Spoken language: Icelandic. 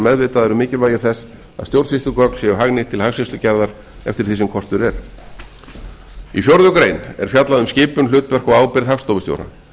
meðvitaðar um mikilvægi þess að stjórnsýslugögn séu hagnýtt til hagskýrslugerðar eftir því sem kostur er í fjórða grein er fjallað um skipun hlutverk og ábyrgð hagstofustjóra